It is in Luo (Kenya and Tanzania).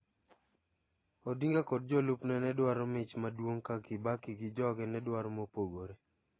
Odinga kod jolup ne nedwaro mich maduong ka Kibaki gi joge nedwaro mopogore.